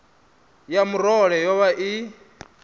ya murole yo vha i